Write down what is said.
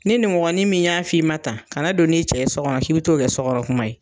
Ni ninmɔgɔnin min y'a f'i ma tan kana don n'i cɛ ye so kɔnɔn k'i bɛ t'o kɛ so kɔnɔ kuma ye.